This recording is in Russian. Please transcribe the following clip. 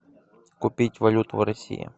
купить валюту в россии